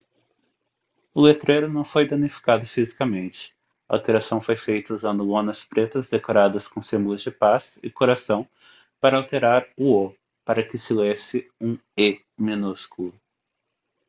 o letreiro não foi danificado fisicamente a alteração foi feita usando lonas pretas decoradas com símbolos de paz e coração para alterar o o para que se lesse um e minúsculo